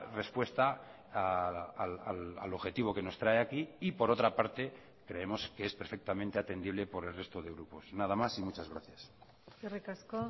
respuesta al objetivo que nos trae aquí y por otra parte creemos que es perfectamente atendible por el resto de grupos nada más y muchas gracias eskerrik asko